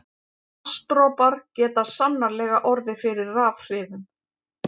Vatnsdropar geta sannarlega orðið fyrir rafhrifum.